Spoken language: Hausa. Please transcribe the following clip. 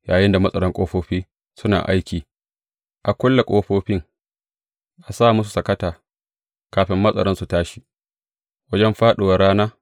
Yayinda matsaran ƙofofi suna aiki, a kulle ƙofofin a sa musu sakata kafin matsaran su tashi, wajen fāɗuwar rana.